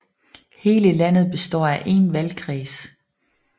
Hele landet består af én valgkreds